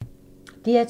DR2